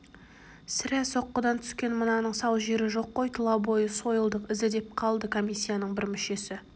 сірә соққыдан түскен мынаның сау жері жоқ қой тұлабойы сойылдың ізі деп қалды комиссияның бір мүшесі